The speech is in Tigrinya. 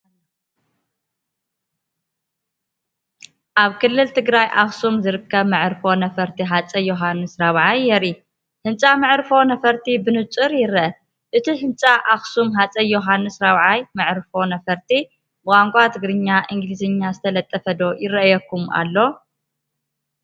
ኣብ ክልል ትግራይ ኣክሱም ዝርከብ መዕርፎ ነፈርቲ ሃፀይ ዮውሃንስ ራብዓይ የርኢ። ህንጻ መዕርፎ ነፈርቲ ብንጹር ይርአ፤ እቲ ህንፃ "ኣክሱም ሃፀይ ዮውሃንስ ራብዓይ መዕርፎ ነፈርቲ" ብቋንቋ ትግርኛን እንግሊዝኛን ዝተለጠፈ ዶ ይረአየኩም ኣሎ?